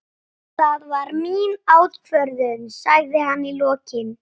Það var mín ákvörðun, sagði hann í lokin.